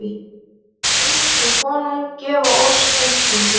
Bið þú konung gefa oss útgöngu.